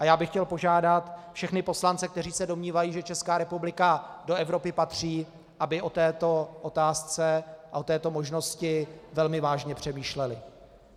A já bych chtěl požádat všechny poslance, kteří se domnívají, že Česká republika do Evropy patří, aby o této otázce a o této možnosti velmi vážně přemýšleli.